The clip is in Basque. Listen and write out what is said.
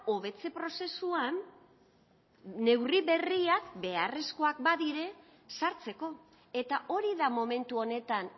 hobetze prozesuan neurri berriak beharrezkoak badira sartzeko eta hori da momentu honetan